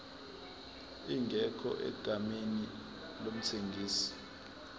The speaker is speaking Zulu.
ingekho egameni lomthengisi